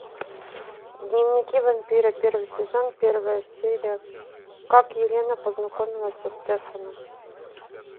дневники вампира первый сезон первая серия как елена познакомилась со стефаном